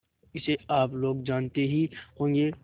इसे आप लोग जानते ही होंगे